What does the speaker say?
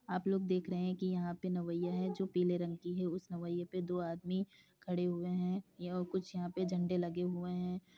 आप लोग देख रहे हैं कि यहां पर नवैया है जो पीले रंग की है उसने नव्या पर दो आदमी खड़े हुए हैं यह कुछ यहाँ पे झंडे लगे हुए हैं।